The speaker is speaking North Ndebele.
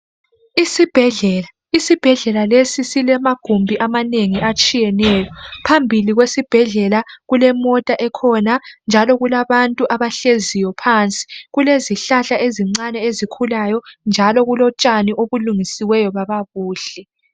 Isibhedlela isibhedlela lesi silamagubhi amanengi atshiyeneyo phambili kwesibhedlela kulemota ekhona njalo kulabantu abahleziyo phansi kulezihlahla ezincane ezikhulayo njalo kulontshani obulungisiweyo baba Buhle